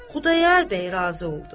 Xudayar bəy razı oldu.